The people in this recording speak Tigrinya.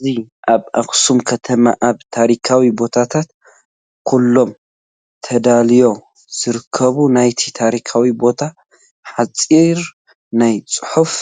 እዚ ኣብ ኣኽሱም ከተማ ኣብ ታሪካዊ ቦታታት ኩሎም ተዳልዩ ዝርከብ ናይቲ ታሪካዊ ቦታ ሓፂር ናይ ፅሑፍ